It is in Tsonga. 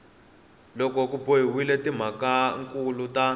loko ku boxiwile timhakankulu ta